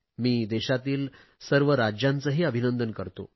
मी देशातील सर्व राज्यांचेही अभिंनदन करतो